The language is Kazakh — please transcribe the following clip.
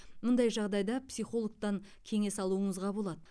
мұндай жағдайда психологтан кеңес алуыңызға болады